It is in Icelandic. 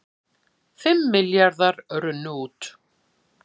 Fimm milljarðar runnu út